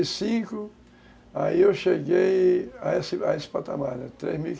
oitenta e cinco, aí eu cheguei a esse a esse patamar, três